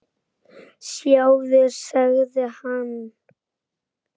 Sjáðu, sagði hann.